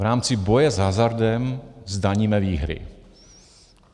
V rámci boje s hazardem zdaníme výhry.